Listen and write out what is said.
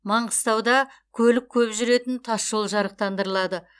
маңғыстауда көлік көп жүретін тас жол жарықтандырылады